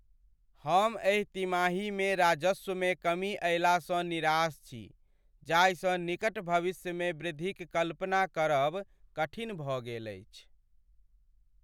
हम एहि तिमाहीमे राजस्वमे कमी अयलासँ निराश छी जाहिसँ निकट भविष्यमे वृद्धिक कल्पना करब कठिन भऽ गेल अछि।